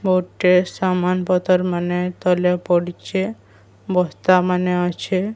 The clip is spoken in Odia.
ଗୁଟେ ସାମାନପତର ମାନେ ତଳେ ପଡିଛେ ବସ୍ତାମାନେ ଅଛେ।